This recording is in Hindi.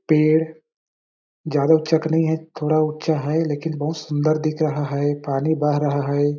पेड़ ज्यादा ऊँचा का नइ है थोड़ा ऊँचा है लेकिन बहुत सुन्दर दिख रहा है पानी बह रहा हैं ।